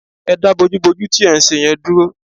Ẹ dá bójúbojú tí ẹ̀ ń ṣe yẹn dúró